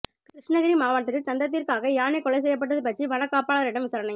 கிருஷ்ணகிரி மாவட்டத்தில் தந்தத்திற்காக யானை கொலை செய்யப்பட்டது பற்றி வனக்காப்பாளரிடம் விசாரணை